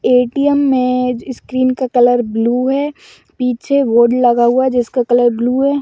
ATM. मे screen का colour blue है पीछे बोर्ड लगा हुआ है जिसका कलर ब्लू है।